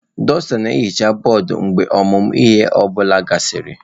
Dusta na-ehicha bọọdụ mgbe ọmụmụ ihe ọ bụla gasịrị.